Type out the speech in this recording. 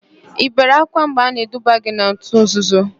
Ị bere ákwá mgbe a na-eduba gị n'òtù nzuzo?